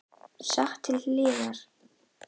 Sett til hliðar.